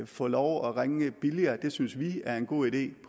få lov at ringe billigere mobiltelefoner det synes vi er en god idé